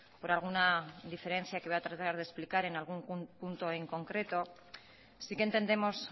por alguna diferencia que voy a tratar de explicar en algún punto en concreto sí que entendemos